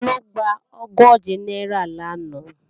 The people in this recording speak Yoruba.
Taló gba ogóje náírà lánàá?